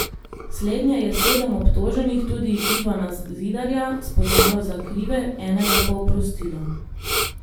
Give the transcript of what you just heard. Slednje je sedem obtoženih, tudi Ivana Zidarja, spoznalo za krive, enega pa oprostilo.